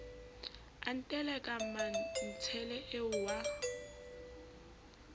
a nteleka mmantshele eo wa